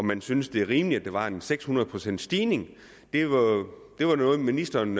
man syntes det var rimeligt at der var en seks hundrede procents stigning det var noget ministeren